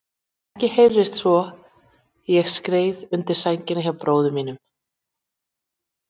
Ekkert heyrðist svo ég skreið undir sængina hjá bróður mínum.